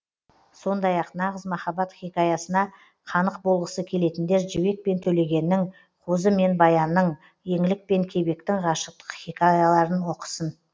сондай ақ нағыз махаббат хикаясына қанық болғысы келетіндер жібек пен төлегеннің қозы мен баянның еңлік пен кебектің ғашықтық хикаяларын оқысын